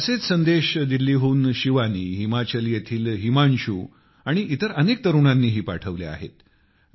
असेच संदेश दिल्लीहून शिवानी हिमाचल येथील हिमांशू आणि इतर अनेक तरुणांनीही पाठविले आहेत